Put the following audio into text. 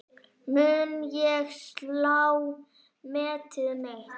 Mun ég slá metið mitt?